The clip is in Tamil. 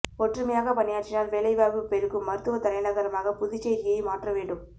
ஒற்றுமையாக பணியாற்றினால் வேலைவாய்ப்பு பெருகும் மருத்துவ தலைநகரமாக புதுச்சேரியை மாற்ற வேண்டும்